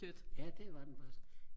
ja det var den faktisk